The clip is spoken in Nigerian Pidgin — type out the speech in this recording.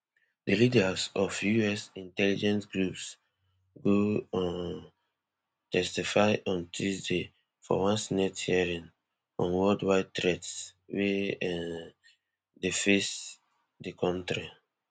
di leaders of us intelligence groups go um testify on tuesday for one senate hearing on worldwide threats wey um dey face di kontri